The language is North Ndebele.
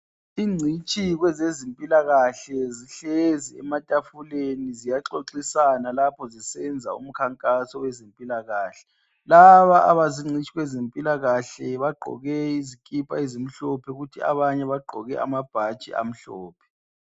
Incitshi kwezempilakahle zihlezi ematafuleni ziyaxoxisana lapho ziyenza umkhankaso wezempilakahle laba abazincitshi kwezempilakahle bagqoke izikipa ezimhlophe abanye bagqoke amabhatshi amhlophe